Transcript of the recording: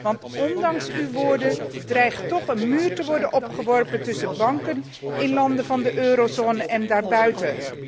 Want ondanks uw woorden dreigt er toch een muur te worden opgeworpen tussen banken in landen van de Eurozone en daarbuiten.